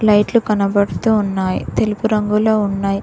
లైట్లు కనపడుతూ ఉన్నాయి తెలుపు రంగులో ఉన్నాయ్.